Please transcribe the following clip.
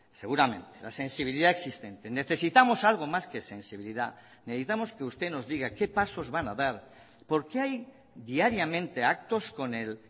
seguramente la sensibilidad existente necesitamos algo más que sensibilidad necesitamos que usted nos diga qué pasos van a dar porque hay diariamente actos con el